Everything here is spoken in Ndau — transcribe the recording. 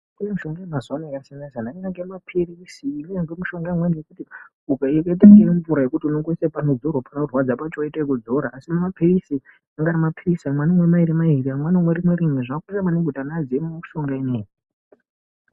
Mushonga mazuwa anaa yasiyana siyana. Inyange maphirizi kunyangwe mimweni yakaite mvura yekuti unozora Asi maphirizi amwe anomwamairi mairi, amwe anomwa rimwe rimwe. Zvakakosha maningi kuti antu aziye mishonga ineyi.